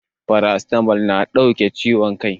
Paracetamol na kau da ciwon kai